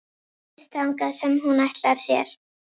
Ryðst þangað sem hún ætlar sér.